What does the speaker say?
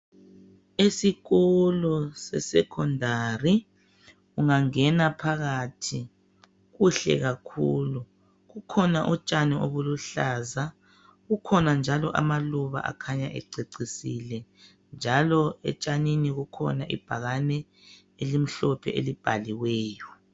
Esikolo se secondary, ungangena phakathi kuhle kakhulu. Kukhona utshani obuluhlaza ,kukhona njalo amaluba akhanya ececisile. Njalo etshanini kukhona ibhakani elimhlophe elibhaliweyo.